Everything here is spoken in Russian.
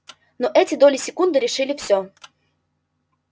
но эти доли секунды решили всё